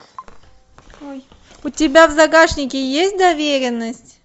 у тебя в загашнике есть доверенность